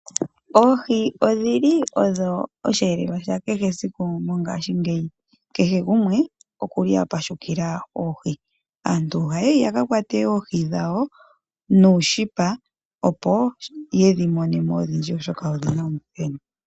Oohi odhili odho osheelelwa sha kehe esiku mongaashingeyi, kehe gumwe okuli apashukila oohi. Aantu ohaya yi yaka kwate oohi dhawo nuushipa opo yedhi mone mo odhindji, oshoka oohi odhina omuthenu .